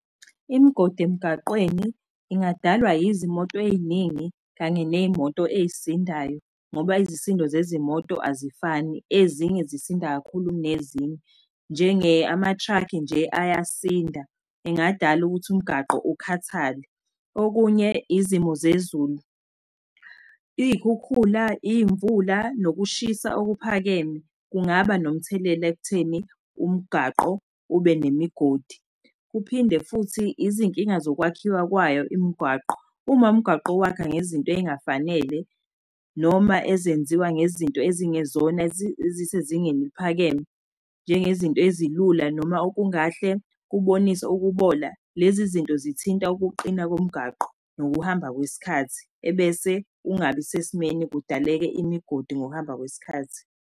Imigodi emigaqweni ingadalwa izimoto ey'ningi kanye ney'moto ey'sindayo ngoba izisindo zezimoto azifani. Ezinye zisinda kakhulu ukunezinye, ama truck-i nje ayasinda engadala ukuthi umgaqo ukhathale. Okunye izimo zezulu. Iy'khukhula, iy'mvula, nokushisa okuphakeme kungaba nomuthelela ekutheni umgaqo ube nemigodi. Kuphinde futhi izinkinga zokwakhiwa kwayo imigwaqo uma umgaqo uwakha ngezinto ey'ngafanele, noma ezenziwa ngezinto ezingezona ezisezingeni eliphakeme, njengezinto ezilula noma okungahle kubonise ukubola, lezi zinto zithinta ukuqina komgaqo ngokuhamba kwesikhathi, ebese ungabi sesimeni kudaleke imigodi ngokuhamba kwesikhathi.